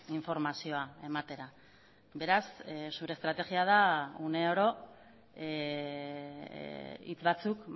informazioa ematera beraz zure estrategia da uneoro hitz batzuk